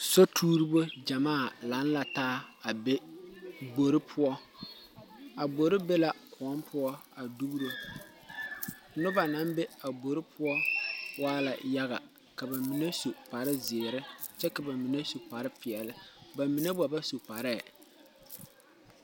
Sotouribo jamaa lang la taa a be gbori pou a gbori be la koun puo a duoro nuba nang be a gbori pou waala yaga ka ba mene su kpare ziiri kye ka bamenne su kpare peɛle ba menne gba ba su kparee.